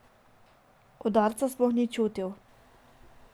Udarca sploh ni čutil.